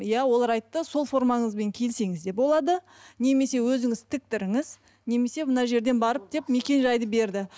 иә олар айтты сол формаңызбен келсеңіз де болады немесе өзіңіз тіктіріңіз немесе мына жерден барып деп мекен жайды берді